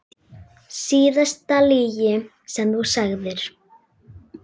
Síðasta lygi sem þú sagðir?